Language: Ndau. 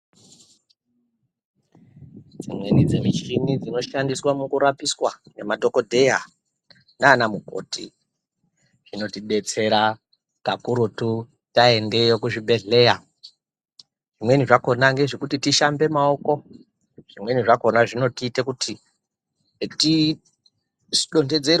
Dzimweni dzemishini dzinoshandiswa mukurapiswa nemadhokodheya nana mukoti zvinotidetsera kakurutu vaendeyo kuzvibhedhlera Kutambe maoko zvimweni zvakona zvinoita kuti tidonhedzerwe.